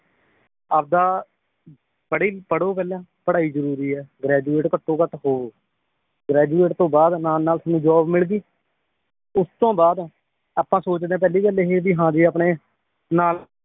ਆਪਦਾ ਪੜ੍ਹੀ ਪੜ੍ਹੋ ਪਹਿਲਾਂ ਪੜ੍ਹਾਈ ਜਰੂਰੀ ਏ graduate ਘਟੋਂ ਘਟ ਹੋਓ graduate ਤੋਂ ਬਾਅਦ ਨਾਲ ਨਾਲ ਤੁਹਾਨੂੰ ਜੌਬ ਮਿਲਗੀ ਉਸ ਤੋਂ ਬਾਅਦ ਆਪਾਂ ਸੋਚਦੇਂ ਪਹਿਲੀ ਗੱਲ ਇਹ ਵੀ ਹਾਂ ਜੇ ਆਪਣੇ ਨਾਲ